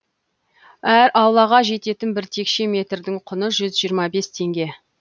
әр аулаға жететін бір текше метрдің құны жүз жиырма бес теңге